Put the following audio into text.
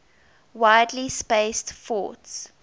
widely spaced forts